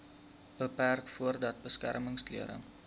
beperk voordat beskermingsklere